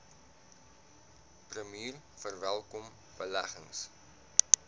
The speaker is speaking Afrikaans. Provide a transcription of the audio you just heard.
premier verwelkom beleggings